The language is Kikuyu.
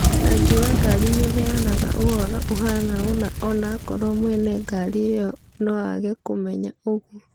Rangi wa ngari nĩuheana ũhoro ũhano-ona onakorwo mwene ngari ĩo noage kũmenya ũguo.